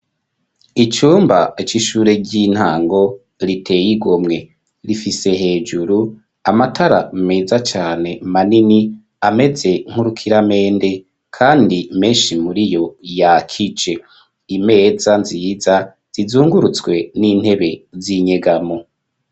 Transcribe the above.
Icumba c'ishure ry'intango riteye igomwe rifise hejuru amatara meza cane manini ameze nk'urukiramende kandi menshi muriyo yakije, imeza nziza zizungurutswa n'intebe z'inyegamo.